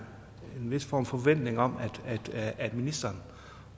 vis form for forventning om at ministeren